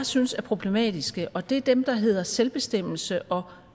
synes er problematiske og det er dem der hedder selvbestemmelse og